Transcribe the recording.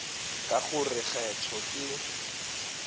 ka go re kgetho ke